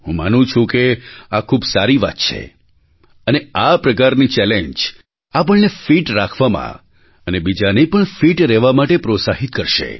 હું માનું છું કે આ ખૂબ સારી વાત છે અને આ પ્રકારની ચૅલેન્જ આપણને ફિટ રાખવામાં અને બીજાને પણ ફિટ રહેવા માટે પ્રોત્સાહિત કરશે